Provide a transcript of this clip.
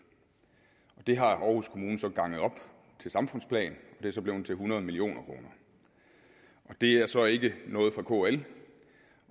det har aarhus kommune så ganget op til samfundsplan og det er så blevet til hundrede million kroner det er så ikke noget fra kl